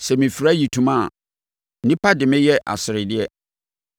sɛ mefira ayitoma a nnipa de me yɛ aseredeɛ.